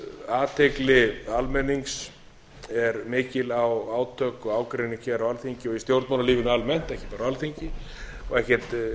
að athygli almennings er mikil á átök og ágreining hér á alþingi og í stjórnmálalífinu almennt ekki bara á alþingi og ekkert